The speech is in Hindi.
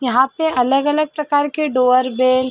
यहाँ पे अलग अलग प्रकर डोरबेल --